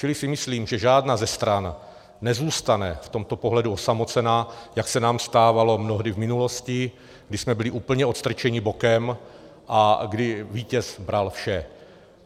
Čili si myslím, že žádná ze stran nezůstane v tomto pohledu osamocená, jak se nám stávalo mnohdy v minulosti, když jsme byli úplně odstrčeni bokem a kdy vítěz bral vše.